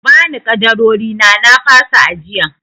Ku bani ƙadarorina na fasa ajiyan!